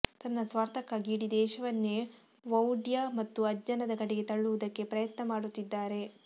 ತನ್ನ ಸ್ವಾರ್ಥಕ್ಕಾಗಿ ಇಡೀ ದೇಶವನ್ನೇ ವೌಢ್ಯ ಮತ್ತು ಅಜ್ಞಾನದ ಕಡೆಗೆ ತಳ್ಳುವುದಕ್ಕೆ ಪ್ರಯತ್ನ ಮಾಡುತ್ತಿದ್ದಾರೆ